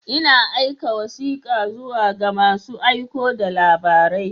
Ina aika wasika zuwa ga masu aiko da labarai.